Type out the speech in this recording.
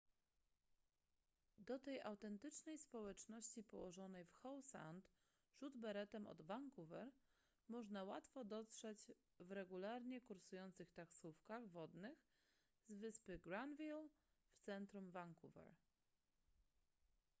do tej autentycznej społeczności położonej w howe sound rzut beretem od vancouver można łatwo dotrzeć w regularnie kursujących taksówkach wodnych z wyspy granville w centrum vancouver